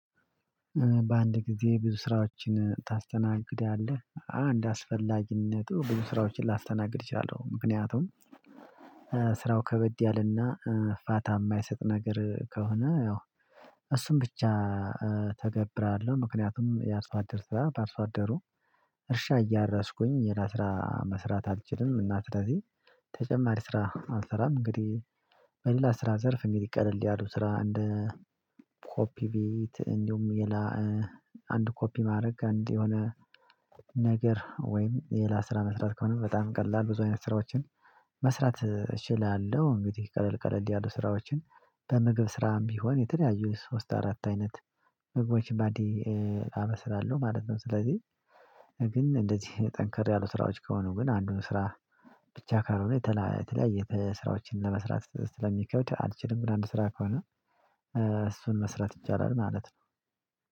በአንድ ጊዜ ብዙ ስራዎችን ታስተናግዳለህ አንድ አስፈላጊነቱ ብዙ ስራዎችን ላስተናግድ እችላለሁ። ምክንያቱም ስራው ከበድ ያለና ፋታ የማይሰጥ ነገር ከሆነ ያው እሱን ብቻ ተገብራለሁ ምክንያቱም ያርሶ አደር ባርሶአደሩ እርሻ እያራስኩኝ ሌላስራ መስራት አልችልም። እና ስለዚህ ተጨማሪ ስራ አልሰራም። እንግዲህ በሌላ ስራ ዘርፍ እንግዲህ ቀለል ያሉ ስራ እንደ ኮፒ ቤት እንዲሁም ሌላ አንድ ኮፒ ማድረግ አንድ የሆነ ነገር ወይም ሌላ ስራ መስራት ከሆነ በጣም ቀላል ብዙ አይነት ስራዎችን መስራት እችላለሁ። እንግዲህ ቀለል ቀለል ያሉ ስራዎችን በምግብ ስራም ቢሆን የተለያዩ ሶስት አራት አይነት ምግቦች በአንዴ አበስላለሁ ማለት ነው። ስለዚህ ግን እንደዚህ ጠንከር ያሉ ስራዎች ከሆኑ ግን አንዱን ስራ ብቻ ካልሆነ የተለያየ ስራዎችን ለመስራት ስለሚከብድ አልችልም። ግን አንድ ስራ ከሆነ እሱን መስራት ይቻላል ማለት ነው።